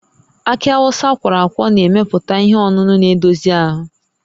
Akị Awụsa akwọrọ akwọ na-emepụta ihe ọṅụṅụ na-edozi ahụ